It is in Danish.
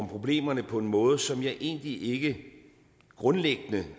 problemerne på en måde som jeg egentlig ikke grundlæggende